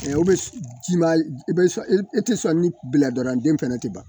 o bɛ ji ma i bɛ sɔn i tɛ sɔn ni bilaranden fɛnɛ tɛ ban